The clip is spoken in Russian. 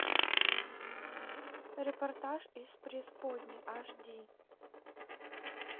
репортаж из преисподней аш ди